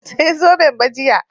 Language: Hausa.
Ban saya zoben ba jiya